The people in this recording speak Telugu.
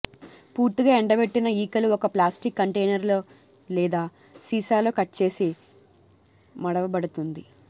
పూర్తిగా ఎండబెట్టిన ఈకలు ఒక ప్లాస్టిక్ కంటైనర్ లేదా సీసాలో కట్ చేసి మడవబడుతుంది